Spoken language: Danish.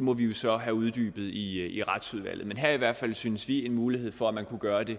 må vi jo så have uddybet i i retsudvalget men her er i hvert fald synes vi en mulighed for at man kunne gøre det